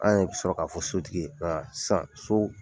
An yɛrɛ bɛ sɔrɔ k'a fɔ sotigi sisaan so